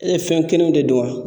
E fɛn kelen de don wa